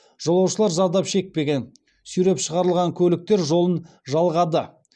жолаушылар зардап шекпеген сүйреп шығарылған көліктер жолын жалғады